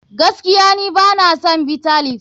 Gaskiya ni bana son Bitter leaf.